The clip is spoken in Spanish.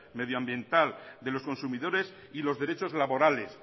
medioambiental de los consumidores y los derechos laborales